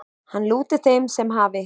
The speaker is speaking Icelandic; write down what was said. Hann lúti þeim sem hafi